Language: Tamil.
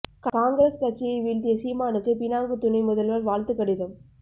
காங்கிரஸ் கட்சியை வீழ்த்திய சீமானுக்கு பினாங்கு துணை முதல்வர் வாழ்த்து கடிதம்